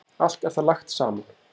Allt er það lagt saman.